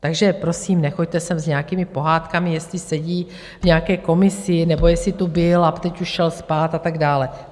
Takže prosím, nechoďte sem s nějakými pohádkami, jestli sedí v nějaké komisi, nebo jestli tu byl a teď už šel spát a tak dále.